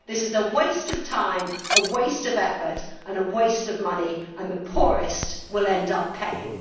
This is a waste of time, a waste of effort and a waste of money, and the poorest will end up paying.